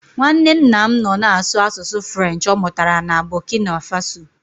Nwanne nna m nọ na-asụ asụsụ French ọ mụtara na Bọkina Faso.